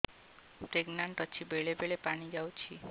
pregnant ଅଛି ବେଳେ ବେଳେ ପାଣି ଯାଉଛି